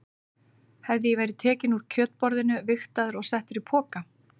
Hafði ég verið tekinn úr kjötborðinu, vigtaður og settur í poka?